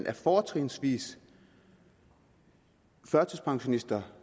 er fortrinsvis førtidspensionister